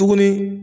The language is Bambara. Tuguni